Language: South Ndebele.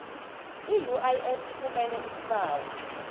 iuif ifumene isibawo